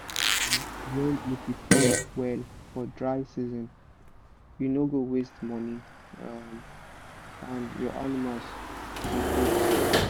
um when u prepare well for dryseason you no go waste money um and your animals go da kampe